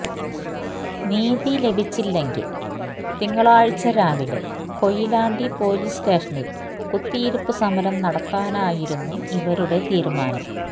നിതി ലഭിച്ചില്ലെങ്കില് തിങ്കളാഴ്ച്ച രാവിലെ കൊയിലാണ്ടി പൊലീസ് സ്റ്റേഷനില് കുത്തിയിരിപ്പ് സമരം നടത്താനായിരുന്നു ഇവരുടെ തീരുമാനം